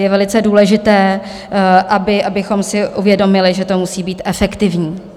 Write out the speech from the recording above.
Je velice důležité, abychom si uvědomili, že to musí být efektivní.